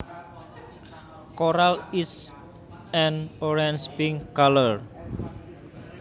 Coral is an orange pink color